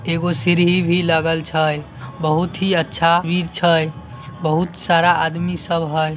एगो सीढ़ी भी लगल छै बहुत ही अच्छा वीर छै बहुत सारा आदमी सब है |